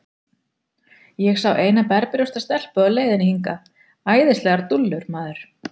Ég sá eina berbrjósta stelpu á leiðinni hingað, æðislegar dúllur, maður.